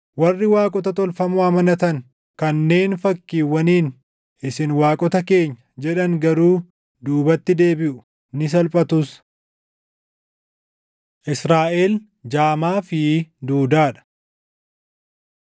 Warri waaqota tolfamoo amanatan, kanneen fakkiiwwaniin, ‘Isin waaqota keenya’ jedhan garuu duubatti deebiʼu; ni salphatus. Israaʼel Jaamaa fi Duudaa dha